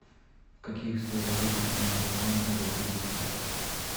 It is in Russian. в каких сферах деятельности невозможно обойтись без карт